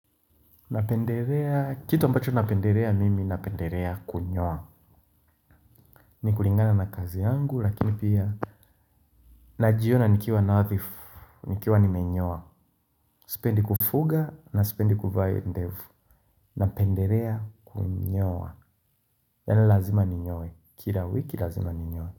Napenderea, kitu ambacho napenderea mimi napenderea kunyowa kulingana na kazi yangu lakini pia najiona nikiwa nathifu, nikiwa nimenyowa. Spendi kufuga na spendi kuvaa ndevu. Napenderea kunyowa. Yani lazima ninyoye, kila wiki lazima ninyoye.